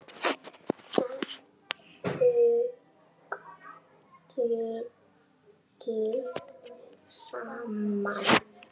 Að þau eigi saman.